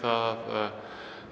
að